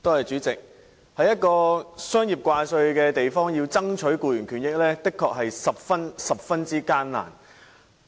主席，在一個商業掛帥的地方，要爭取僱員權益的確十分艱難。